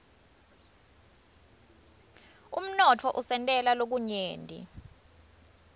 umnotfo usentela lokunyenti